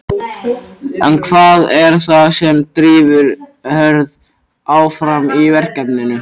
En hvað er það sem drífur Hörð áfram í verkefninu?